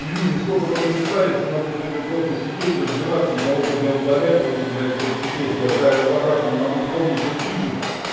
и люди столько понаписали что надо сегодня просто сидеть разбираться и кого ты бля удалять потому что блять это пипец я в разобраться не могу кто мне что пишет